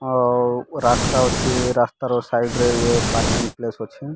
ଆଉ ରାସ୍ତା ଅଛି ରାସ୍ତାର ସାଇଡ ରେ ଇଏ ପାର୍କିଂ ପ୍ଲେସ ଅଛି।